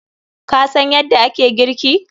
Ka san yadda ake girki?